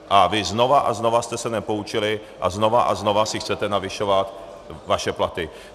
A vy znova a znova jste se nepoučili a znova a znova si chcete navyšovat své platy.